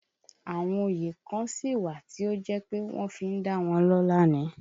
Àwọn òye kan sí wà tí ó jẹ́ pé wọ́n fi dá wọn lọ́la ni